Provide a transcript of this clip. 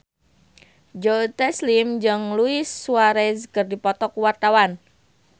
Joe Taslim jeung Luis Suarez keur dipoto ku wartawan